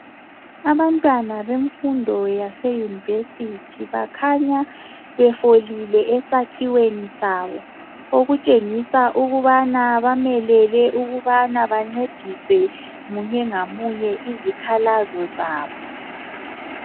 Abantwana bemfundo yase university bakhanya befolile esakhiweni sabo okutshengisa ukubana bamelele ukubana bancediswe munye ngamunye izikhalazo zabo